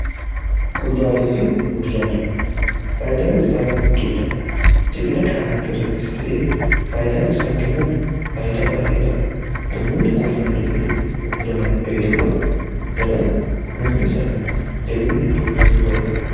Kuduraalee Fi muduraaleen faayidaan isaa hedduudha. jabina qaamaa irrattis ta'ee faayidaan isaan kennan faayidaa baay'eedha. namoonni kuduraalee fi muduraalee fayyadaman daran nafni isaanii jabina hedduu ni horata.